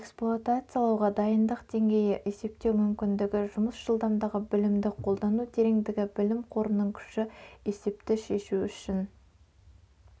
эксплуатациялауға дайындық деңгейі есептеу мүмкіндігі жұмыс жылдамдығы білімді қолдану тереңдігі білім қорының күші есепті шешу үшін